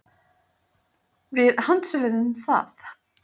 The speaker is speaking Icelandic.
Við handsöluðum það.